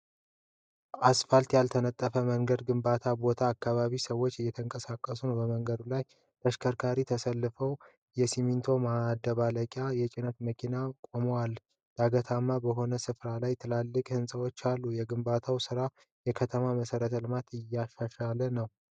ፋልት ያልተነጠፈ መንገድ ግንባታ ቦታ አካባቢ ሰዎች እየተንቀሳቀሱ ነው። በመንገዱ ላይ ተሽከርካሪዎች ተሰልፈው የሲሚንቶ ማደባለቂያ የጭነት መኪናዎች ቆመዋል። ዳገታማ በሆነ ስፍራ ላይ ትላልቅ ሕንፃዎች አሉ። የግንባታው ስራ የከተማዋን መሠረተ ልማት እያሻሻለ ነው።